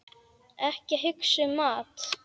Ekki hugsa um mat!